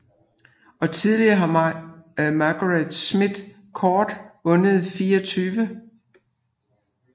Og tidligere har Margaret Smith Court vundet 24